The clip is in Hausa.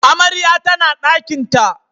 Amarya tana dakinta